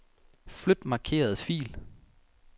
Flyt markerede fil.